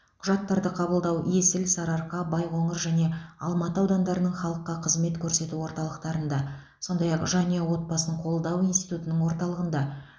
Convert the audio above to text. құжаттарды қабылдау есіл сарыарқа байқоңыр және алматы аудандарының халыққа қызмет көрсету орталықтарында сондай ақ жанұя отбасын қолдау институтының орталығында